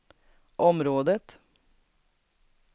området